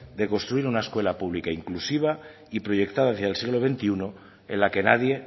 de construir una escuela pública inclusiva y proyectada desde el siglo veintiuno en la que nadie